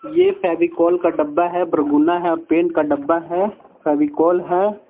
ये फेविकोल का डब्बा है ब्रगुना है और पेंट का डब्बा है फेविकोल है.